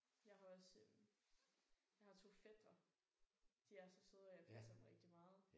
Jeg har også øh jeg har 2 fætre. De er så søde og jeg passer dem rigtig meget